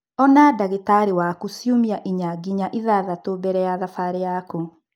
Ona ndagĩtarĩ waku ciumia inya nginya ithathatũ mbere ya thabarĩ yaku.